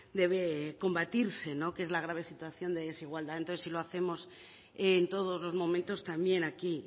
debe combatirse que es la grave situación de desigualdad entonces si lo hacemos en todos los momentos también aquí